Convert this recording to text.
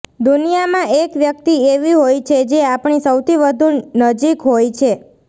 દુનિયામાં એક વ્યક્તિ એવી હોય છે જે આપણી સૌથી વધુ નજીક હોય છે